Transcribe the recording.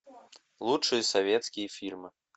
лучшие советские фильмы